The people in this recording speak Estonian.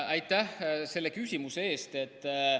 Aitäh selle küsimuse eest!